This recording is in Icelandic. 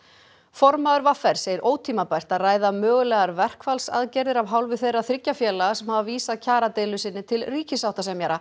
formaður v r segir ótímabært að ræða mögulegar verkfallsaðgerðir af hálfu þeirra þriggja félaga sem hafa vísað kjaradeilu sinni til ríkissáttasemjara